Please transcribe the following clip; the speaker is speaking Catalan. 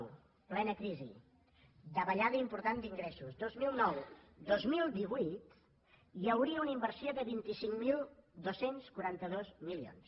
en plena crisi davallada important d’ingressos vint milions noranta dos mil divuit hi hauria una inversió de vint cinc mil dos cents i quaranta dos milions